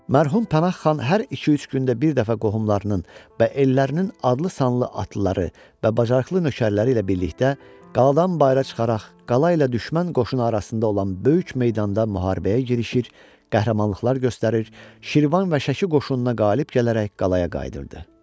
Mərhum Pənah xan hər iki-üç gündə bir dəfə qohumlarının və ellərinin adlı-sanlı atlıları və bacarıqlı nökərləri ilə birlikdə qaladan bayıra çıxaraq, qala ilə düşmən qoşun arasında olan böyük meydanda müharibəyə girişir, qəhrəmanlıqlar göstərir, Şirvan və Şəki qoşununa qalib gələrək qalaya qayıdırdı.